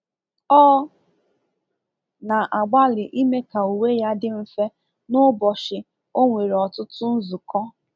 Ọ na-agbalị ime ka uwe ya dị mfe n'ụbọchị o nwere ọtụtụ nzukọ.